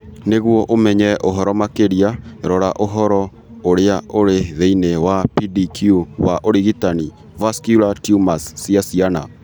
Nĩguo ũmenye ũhoro makĩria, rora ũhoro ũrĩa ũrĩ thĩinĩ wa PDQ wa ũrigitani vascular tumors cia ciana .